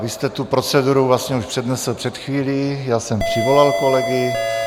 Vy jste tu proceduru vlastně už přednesl před chvílí, já jsem přivolal kolegy.